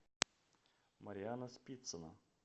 марианна спицина